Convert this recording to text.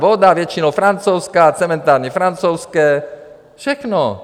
Voda většinou francouzská, cementárny francouzské, všechno.